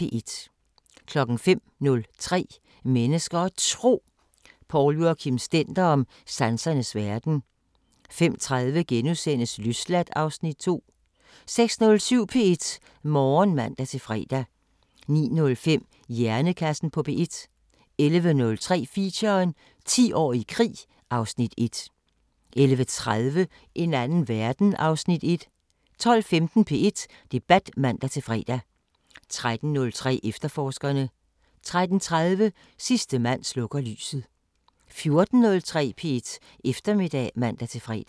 05:03: Mennesker og Tro: Poul Joachim Stender om sansernes verden 05:30: Løsladt (Afs. 2)* 06:07: P1 Morgen (man-fre) 09:05: Hjernekassen på P1 11:03: Feature: 10 år i krig (Afs. 1) 11:30: En anden verden (Afs. 1) 12:15: P1 Debat (man-fre) 13:03: Efterforskerne 13:30: Sidste mand slukker lyset 14:03: P1 Eftermiddag (man-fre)